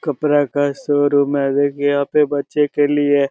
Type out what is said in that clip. कपड़ा का शोरूम है यहां पे बच्चे के लिए--